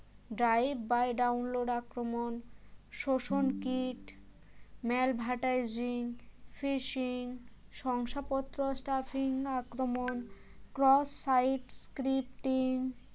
drive by download আক্রমণ শোষণ kit malvertising fishing শংসাপত্র stuffing আক্রমণ cross site scripting